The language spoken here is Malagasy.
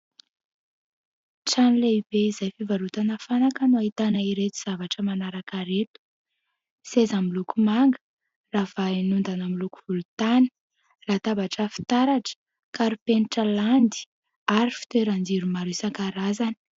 Trano lehibe izay fivarotana fanaka no ahitana ireto zavatra manaraka ireto : seza miloko manga ravahina ondana miloko volotany, latabatra fitaratra, karipenitra landy ary fitoeran-jiro maro isan-karazany.